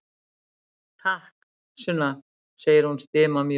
Takk, Sunna, segir hún stimamjúk.